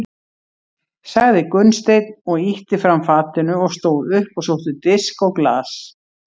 sagði Gunnsteinn og ýtti fram fatinu og stóð upp og sótti disk og glas.